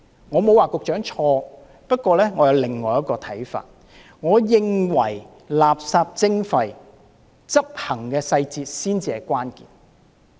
我不是說局長錯，而是我有另一個看法，我認為垃圾徵費的執行細節才是關鍵。